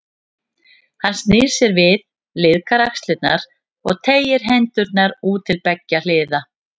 Hann snýr sér við, liðkar axlirnar og teygir hendurnar út til beggja hliða.